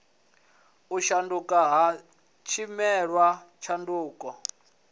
u shanduka ha tshileme tshanduko